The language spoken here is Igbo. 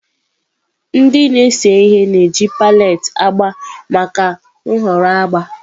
Ndị na-ese ihe na-eji palette agba maka nhọrọ agba.